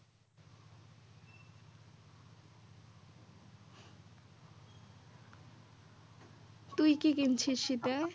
তুই কি কিনছিস শীতে?